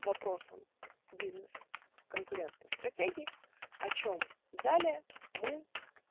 вопросам бизнес конкурентной стратегии о чем далее мы